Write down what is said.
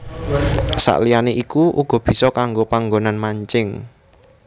Saliyané iku uga bisa kanggo panggonan mancing